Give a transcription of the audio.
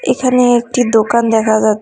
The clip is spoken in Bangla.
এখানে একটি দোকান দেখা যাচ--